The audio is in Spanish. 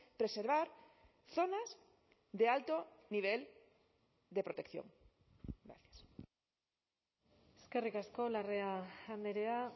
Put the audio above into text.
preservar zonas de alto nivel de protección eskerrik asko larrea andrea